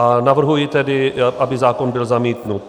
A navrhuji tedy, aby zákon byl zamítnut.